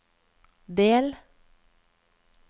del